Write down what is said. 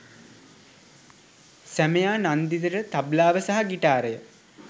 සැමියා නන්දිතට තබ්ලාව සහ ගිටාරය